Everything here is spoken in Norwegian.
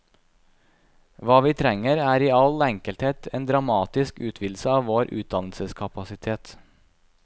Hva vi trenger, er i all enkelhet en dramatisk utvidelse av vår utdannelseskapasitet.